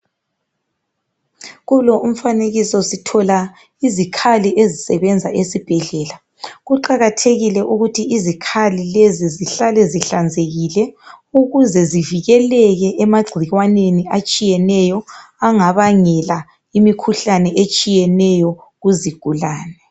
Kulo umfanekiso sithola izikhali ezisebenza esibhedlela. Kuqakathekile ukuthi izikhali zihlale zihlanzekile ukuze zivikele emagcikwaneni atshiyeneyo angabangela imikhuhlane etshiyeneyo kuzigulane.